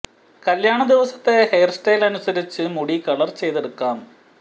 കല്യാണ ദിവസത്തെ hair style അനുസരിച്ച് മുടി കളർ ചെയ്തെടുക്കാം